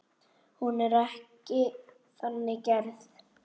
Hún er ekki þannig gerð.